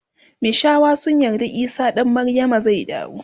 mishawa sun yarda isah dan maryama zai dawo